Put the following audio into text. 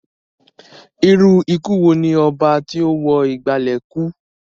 Irú ikú wo ni oba tí ó wo ìgbàlè kúú?